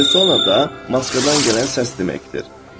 Persona da maskadan gələn səs deməkdir.